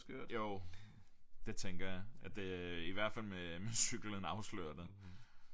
Jo det tænker jeg at det øh i hvert fald med øh med cyklen afslørende